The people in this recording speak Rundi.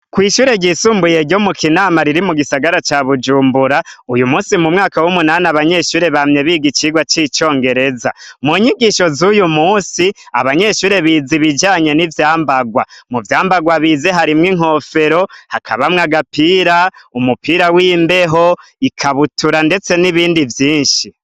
Kw’ishure ryisumbuye ryo mu kinama riri mu gisagara ca bujumbura, uyu munsi mu mwaka w’umunani abanyeshure bamye biga icigwa c’icongereza. Mu nyigisho z’uyumunsi abanyeshure bize ibijanye n’ivyambarwa, mu vyambarwa bize harimwo inkofero, hakabamwo agapira, umupira w’imbeho, ikabutura ndetse n’ibindi vyinshi.